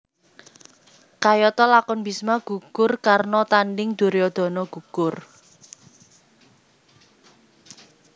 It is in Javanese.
Kayata lakon Bisma gugur Karna Tanding Duryudana Gugur